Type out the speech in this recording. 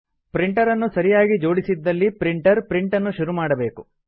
printer ಅನ್ನು ಸರಿಯಾಗಿ ಜೋಡಿಸಿದ್ದಲ್ಲಿ ಪ್ರಿಂಟರ್ ಪ್ರಿಂಟನ್ನು ಶುರು ಮಾಡಬೇಕು